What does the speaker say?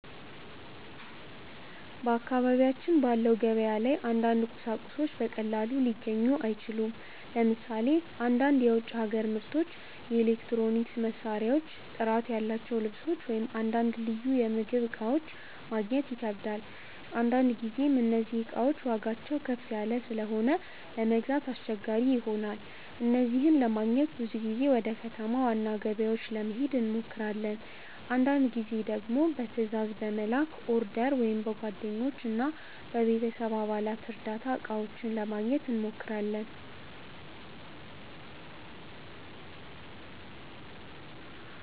በአካባቢያችን ባለው ገበያ ላይ አንዳንድ ቁሳቁሶች በቀላሉ ሊገኙ አይችሉም። ለምሳሌ አንዳንድ የውጭ ሀገር ምርቶች፣ የኤሌክትሮኒክስ መሳሪያዎች፣ ጥራት ያላቸው ልብሶች ወይም አንዳንድ ልዩ የምግብ እቃዎች ማግኘት ይከብዳል። አንዳንድ ጊዜም እነዚህ እቃዎች ዋጋቸው ከፍ ያለ ስለሆነ ለመግዛት አስቸጋሪ ይሆናል። እነዚህን ለማግኘት ብዙ ጊዜ ወደ ከተማ ዋና ገበያዎች ለመሄድ እንሞክራለን። አንዳንድ ጊዜ ደግሞ በትዕዛዝ በመላክ (order) ወይም በጓደኞች እና በቤተሰብ አባላት እርዳታ እቃዎቹን ለማግኘት እንሞክራለን።